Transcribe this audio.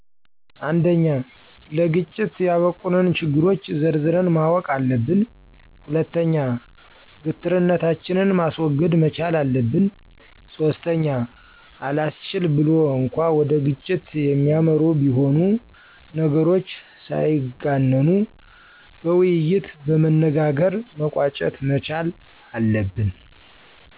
፩) ለግጭት ያበቁንን ችግሮች ዘርዝረን ማወቅ አለብን። ፪) ግትርነታችንን ማስወገድ መቻል አለብን። ፫) አላስችል ብሎ እንኳ ወደ ግጭት የሚያመሩ ቢሆኑ ነገሮች ሳይጋነኑ በውይይት በመነጋገር መቋጨት መቻል አለብን።